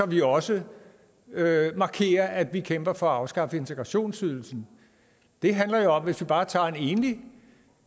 vi også markerer at vi kæmper for at afskaffe integrationsydelsen det handler jo om hvis vi bare tager en enlig